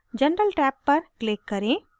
general tab पर click करें